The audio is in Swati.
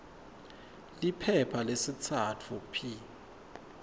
liphepha lesitsatfu p